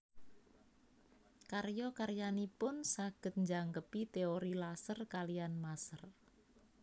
Karya karyanipun saged njangkepi teori laser kaliyan maser